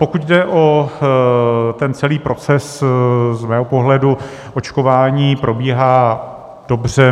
Pokud jde o ten celý proces, z mého pohledu očkování probíhá dobře.